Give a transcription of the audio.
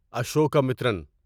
Ashokamitran